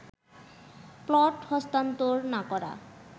plot হস্তান্তর না করা